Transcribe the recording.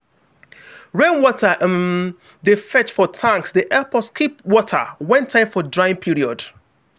rainwater wey um dey fetch for tanks dey help us keep water when time for drying period.